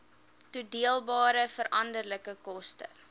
toedeelbare veranderlike koste